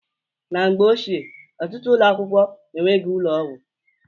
Na mgbe ochie, ọtụtụ ụlọakwụkwọ enweghị ụlọgwụ.